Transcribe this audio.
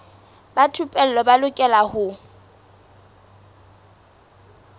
ba thupelo ba lokela ho